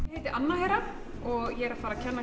ég heiti Anna Hera og er að fara að kenna